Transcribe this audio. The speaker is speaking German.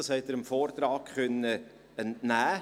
– Dies konnten Sie dem Vortrag entnehmen.